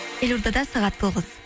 елордада сағат тоғыз